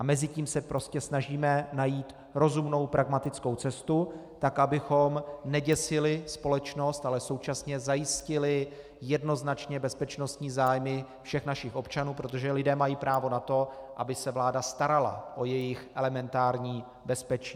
A mezi tím se prostě snažíme najít rozumnou, pragmatickou cestu tak, abychom neděsili společnost, ale současně zajistili jednoznačně bezpečnostní zájmy všech našich občanů, protože lidé mají právo na to, aby se vláda starala o jejich elementární bezpečí.